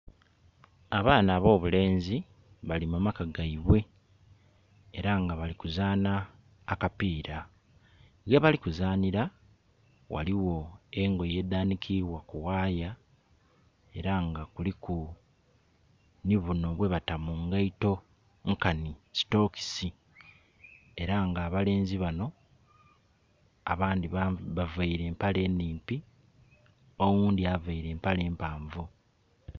Abaana ab'obulenzi bali mu maka gaibwe era nga bali ku zaanha akapiira. Ghebali kuzanhira ghaligho engoye edhanhikibwa ku ghaaya era nga kuliku nhi bunho bwe bata mungeito nkanhi sitokisi era nga abalenzi banho abandhi baveire empale nhimpi oghundhi aveire empale mpanvu